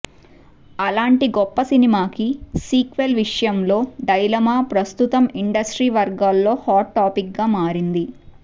అలాంటి గొప్ప సినిమాకి సీక్వెల్ విషయంలో డైలమా ప్రస్తుతం ఇండస్ట్రీ వర్గాల్లో హాట్ టాపిక్ గా మారింది